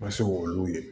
Ma se k'olu ye